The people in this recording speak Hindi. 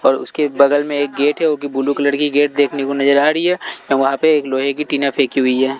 और उसके बगल में एक गेट है वो कि ब्लू कलर की गेट देखने को नज़र आ रही है और वहाँ पे एक लोहे की टीना फेंकी हुई है।